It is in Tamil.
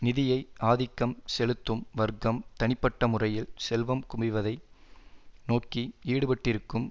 நிதியை ஆதிக்கம் செலுத்தும் வர்க்கம் தனிப்பட்ட முறையில் செல்வம் குவிவதை நோக்கி ஈடுபட்டிருக்கும்